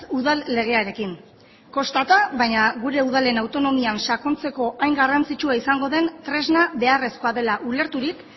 udal legearekin kostata baina gure udalen autonomian sakontzeko hain garrantzitsua izango den tresna beharrezkoa dela ulerturik